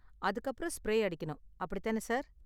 அதுக்கு அப்பறம் ஸ்ப்ரே அடிக்கணும், அப்படித்தான சார்?